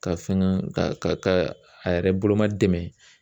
Ka fɛngɛ ka a yɛrɛ boloma dɛmɛ